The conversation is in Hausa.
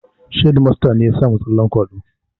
Hedimasta ne ya samu tsallen kwaɗo